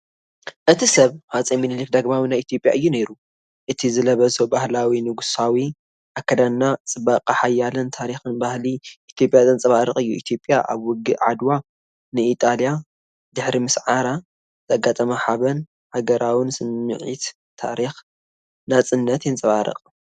እቲ ሰብ ሃፀይ ሚኒሊክ ዳግማዊ ናይ ኢትዮጵያ እዩ ነይሩ። እቲ ዝለበሶ ባህላዊ ንጉሳዊ ኣከዳድና ጽባቐ ሓይልን ታሪኽን ባህሊ ኢትዮጵያ ዘንጸባርቕ እዩ። ኢትዮጵያ ኣብ ውግእ ዓድዋ ንኢጣልያ ድሕሪ ምስዓራ ዘጋጠማ ሓበን፣ ሃገራውነት፣ ስምዒት ታሪኽ ናጽነት የንጸባርቕ።